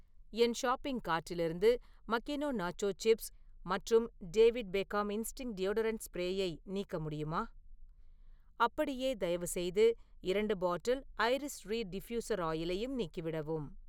என் shopping கார்ட்டிலிருந்து Makino nacho chips மற்றும் David Beckham Instinct deodorant ஸ்ப்ரேயயை நீக்க முடியுமா? அப்படியே, தயவுசெய்து இரண்டு பாட்டில் ஐரிஸ் ரீட் டிஃப்யுசர் ஆயிலையும் நீக்கிவிடவும்.